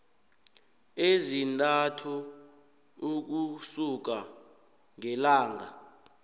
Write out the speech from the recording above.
ezintathu ukusuka ngelanga